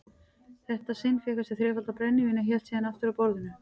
þetta sinn fékk hann sér þrefaldan brennivín og hélt síðan aftur að borðinu.